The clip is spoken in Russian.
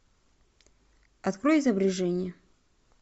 открой изображение